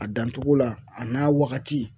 A dan cogo la, a n'a wagati